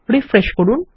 refresh করুন